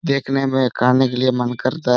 देखने में खाने के लिए मन करता है।